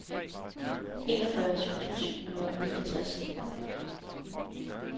enogfyrre tusind syv hundrede og niogtres